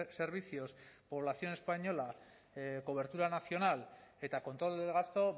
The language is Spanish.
servicios población española cobertura nacional eta control del gasto